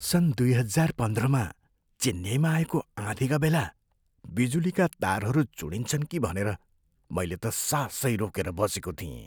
सन् दुई हजार पन्ध्रमा चेन्नईमा आएको आँधीका बेला बिजुलीका तारहरू चुँडिन्छन् कि भनेर मैले त सासै रोकेर बसेको थिएँ।